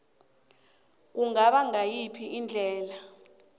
kungaba ngayiphi indlela